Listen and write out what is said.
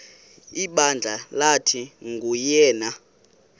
ibandla lathi nguyena